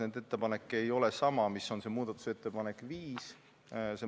Nende ettepanek ei ole sama, mis on muudatusettepanek nr 5.